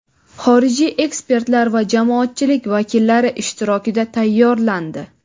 xorijiy ekspertlar va jamoatchilik vakillari ishtirokida tayyorlandi.